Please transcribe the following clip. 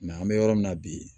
an bɛ yɔrɔ min na bi